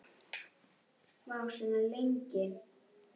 Augun verða beint strik.